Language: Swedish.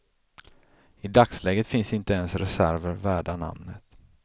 I dagsläget finns inte ens reserver värda namnet.